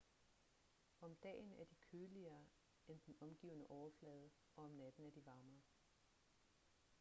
om dagen er de køligere end den omgivende overflade og om natten er de varmere